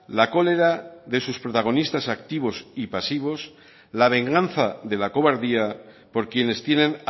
la cólera de sus protagonistas activos y pasivos la venganza de la cobardía por quienes tienen